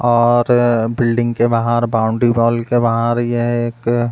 और बिल्डिंग के बाहर बॉउंड्री वॉल के बाहर यह एक --